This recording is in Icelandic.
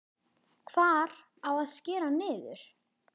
Hvar á að skera niður?